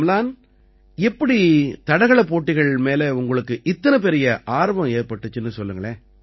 அம்லன் எப்படி தடகளப் போட்டிகள் மீது உங்களுக்கு இத்தனை பெரிய ஆர்வம் ஏற்பட்டிச்சுன்னு சொல்லுங்க